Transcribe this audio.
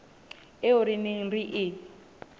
eo re neng re e